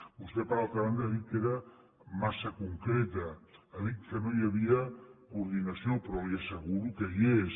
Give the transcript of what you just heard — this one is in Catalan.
vostè per altra banda ha dit que era massa concreta ha dit que no hi havia coordinació però li asseguro que hi és